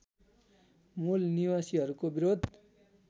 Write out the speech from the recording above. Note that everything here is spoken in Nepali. मूल निवासीहरूको विरोध